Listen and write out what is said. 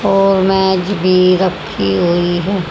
और मेज भी रखीं हुई हैं।